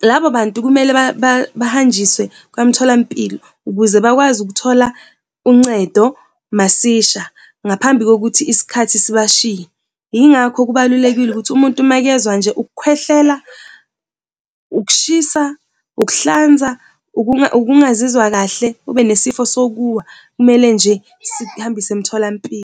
Labo bantu kumele bahanjiswe kwamtholampilo ukuze bakwazi ukuthola uncedo masisha ngaphambi kokuthi isikhathi sibashiye. Yingakho, kubalulekile ukuthi umuntu makezwa nje ukukhwehlela, ukushisa, ukuhlanza, ukungazizwa kahle ube nesifiso sokuwa kumele nje sikuhambise emtholampilo.